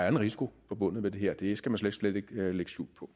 en risiko forbundet med det her det skal man slet slet ikke lægge skjul på